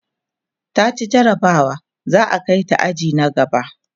taci jarabawa za'a Kai ta aji na gaba